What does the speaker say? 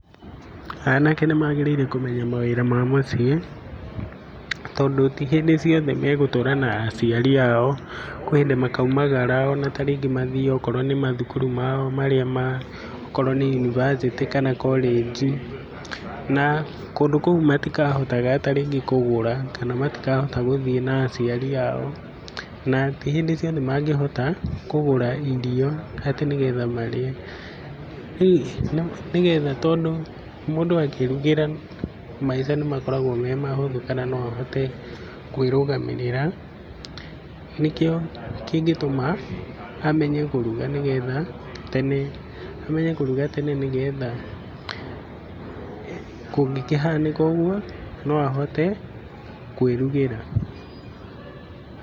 Anake nĩmagĩrĩire kũmenya mawĩra ma mũciĩ, tondũ ti hĩndĩ ciothe magũtũra na aciari ao, kũrĩ hĩndĩ makaumagara, ona ta rĩngĩ magĩthĩĩ rĩngĩ okorwo nĩ mathukuru mao, okorwo nĩ university kana college. Na kũndũ kũu matikahota rĩngĩ kũgũra kana gũthiĩ na aciari ao, na ti hĩndĩ ciothe mangĩhota kũgũra irio atĩ nĩgetha marĩe, hihi nĩgetha, tondũ mũndũ akĩĩrugĩra maica nĩmakoragwo me mahũthũ, kana no ahote kwĩrũgamĩrĩra, nĩkĩo kĩngĩtũma amenye kũruga, nĩgetha tene, amenye kũruga tene, nĩgetha kũngĩkĩhanĩka ũguo, no ahote kwĩrugĩra.